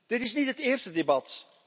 Dit is niet het eerste debat.